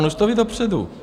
On už to ví dopředu.